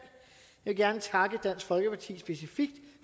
vil specifikt gerne takke dansk folkeparti